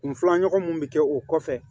Kun filanan mun bi kɛ o kɔfɛ